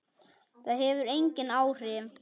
Það hefur engin áhrif.